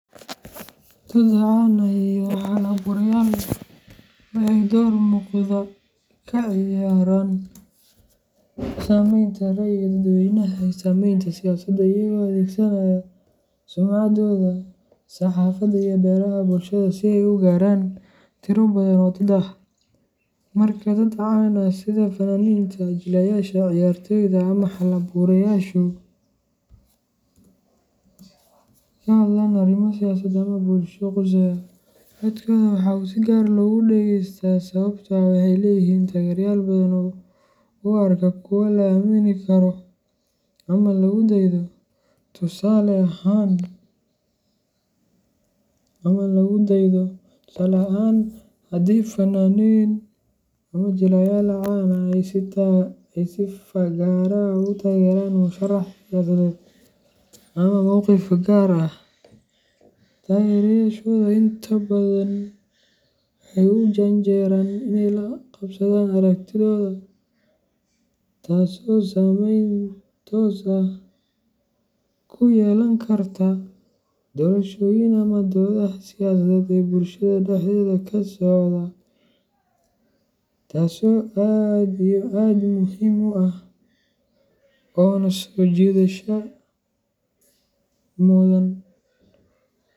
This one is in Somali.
Dad caan ah iyo hal abuurayaal waxay door muuqda ka ciyaaraan sameynta rayiga dadweynaha iyo saameynta siyaasadda iyagoo adeegsanaya sumcaddooda, saxaafadda, iyo baraha bulshada si ay u gaaraan tiro badan oo dad ah. Marka ay dad caan ah sida fanaaniinta, jilayaasha, ciyaartooyda ama hal abuurayaashu ka hadlaan arrimo siyaasadeed ama bulshada quseeya, codkooda waxaa si gaar ah loogu dhegeystaa sababtoo ah waxay leeyihiin taageerayaal badan oo u arka kuwo la aamini karo ama lagu daydo. Tusaale ahaan, haddii fanaaniin ama jilayaal caan ah ay si fagaare ah u taageeraan murashax siyaasadeed ama mowqif gaar ah, taageerayaashooda intooda badan waxay u janjeeraan inay la qabsadaan aragtidooda, taasoo saameyn toos ah ku yeelan karta doorashooyin ama doodaha siyaasadeed ee bulshada dhexdeeda ka socda. Taso aad iyo aad muhim u ah ona sojidasho mudan.